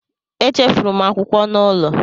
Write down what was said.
Echefuru m akwụkwọ m n'ụlọ